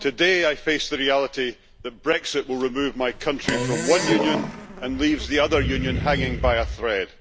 Today, I face the reality that Brexit will remove my country from one union and leave the other union hanging by a thread.